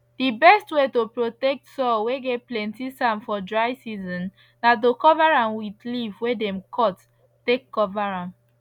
the best way to protect soil whey get plenty sand for dry season na to cover am with leave whey them cut take cover am